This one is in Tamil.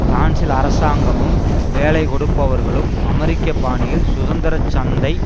பிரான்சில் அரசாங்கமும் வேலைக்கொடுப்பவர்களும் அமெரிக்க பாணியில் சுதந்திரச்சந்தை